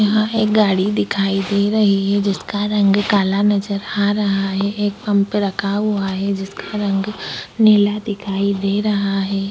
यहा एक गाड़ी दिखाई दे रही है जिसका रंग काला नजर आ रहा है एक पम्प पर रखा हुआ है जिसका रंग नीला दिखाई दे रहा है।